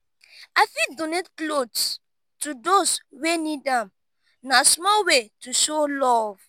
i fit donate clothes to those wey need am; na small way to show love.